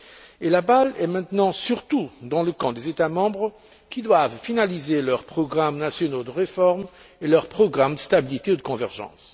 Et la balle est maintenant surtout dans le camp des États membres qui doivent finaliser leurs programmes nationaux de réforme et leurs programmes de stabilité ou de convergence.